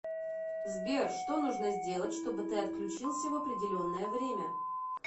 сбер что нужно сделать чтобы ты отключился в определенное время